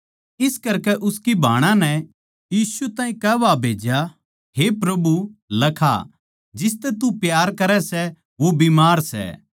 इस करकै उसकी भाणां नै यीशु ताहीं कुह्वा भेज्या हे प्रभु लखा जिसतै तू प्यार करै सै वो बीमार सै